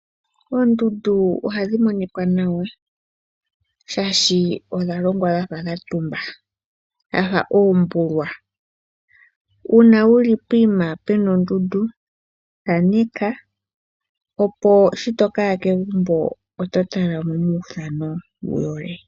Oondundu ohadhi monikwa nawa. Shaashi odha longwa dha fa dha tumba, dhafa uumbulwa. Uuna wuli poyima pu na ondundu, thaaneka opo sho toka ya kegumbo, oto tala nee uuthano wu yole.